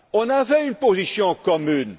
On avait une position commune.